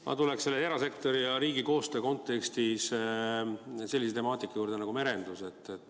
Ma tuleksin erasektori ja riigi koostöö kontekstis sellise temaatika juurde nagu merendus.